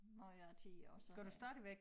Gjorde jeg i 10 år så det